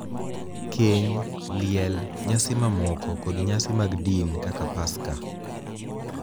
keny, liel, nyasi mamoko, kod nyasi mag din kaka Paska .